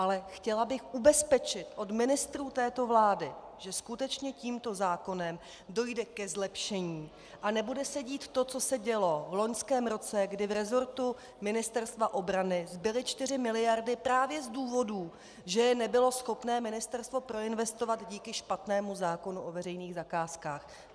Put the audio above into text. Ale chtěla bych ubezpečit od ministrů této vlády, že skutečně tímto zákonem dojde ke zlepšení a nebude se dít to, co se dělo v loňském roce, kdy v resortu Ministerstva obrany zbyly 4 miliardy právě z důvodů, že je nebylo schopné ministerstvo proinvestovat díky špatnému zákonu o veřejných zakázkách.